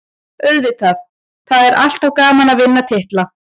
Auðvitað, það er alltaf gaman að vinna titla.